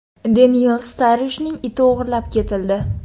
Deniyel Starrijning iti o‘g‘irlab ketildi.